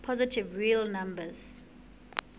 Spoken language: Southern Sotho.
positive real numbers